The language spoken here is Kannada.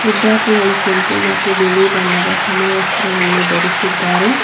ವಿದ್ಯಾರ್ಥಿಗಳು ಕೆಂಪು ಮತ್ತು ಬಿಳಿ ಬಣ್ಣದ ಸಮವಸ್ತ್ರವನ್ನು ಧರಿಸಿದ್ದಾರೆ.